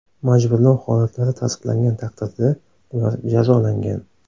Majburlov holatlari tasdiqlangan taqdirda, ular jazolangan.